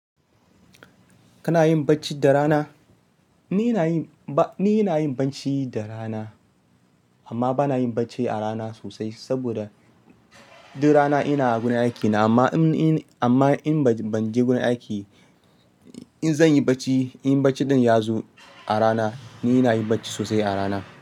Kana yin bacci da rana? Ni ina yin bacci da rana, amma ba na yin bacci a rana sosai saboda duk rana ina gurin aikina. Amma in, amma in ban je gurin aiki, in zan yi bacci, in bacci ɗin ya zo a rana, ni ina yin bacci sosai a rana.